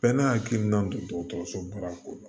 Bɛɛ n'a hakilina don dɔgɔtɔrɔsoba ko don